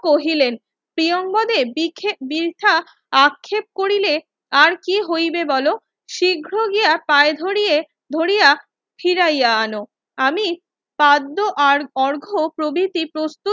কহিলেন প্রিয়োঙ্গদেব বৃথা আক্ষেপ করিলে আর কি হইবে বোলো শীঘ্র গিয়া পায়ে ধরিয়া ফিরাইয়া আনো আমি পাদ্য আর অর্ঘ প্রভিতি প্রস্তুত